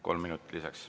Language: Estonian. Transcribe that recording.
Kolm minutit lisaks.